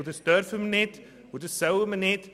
Doch das dürfen und sollen wir nicht.